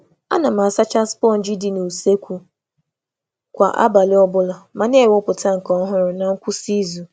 A na m asacha sponji ụlọ nri kwa abalị, ma na-agbanwe ya na ngwụsị izu ọ bụla.